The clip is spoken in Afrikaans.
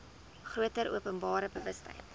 groter openbare bewustheid